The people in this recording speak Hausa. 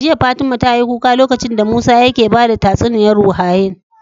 Jiya fatima tayi kuka lokacin da musa yake bada tatsuniyar ruhAnai